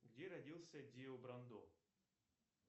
где родился дио брандо